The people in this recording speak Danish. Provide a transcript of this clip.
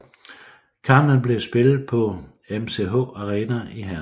Kampen blev spillet på MCH Arena i Herning